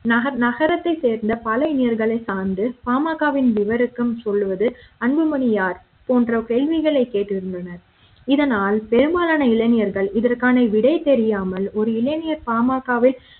நகரத்தைச் சேர்ந்த பல இளைஞர்களை சார்ந்து பாமக வின் விவருக்கும் சொல்வது அன்புமணி யார் போன்ற கேள்விகளை கேட்டிருந்தனர் இதனால் பெரும்பாலான இளைஞர்கள் இதற்கான விடை தெரியாமல் ஒரு இளைஞர் பாமக வை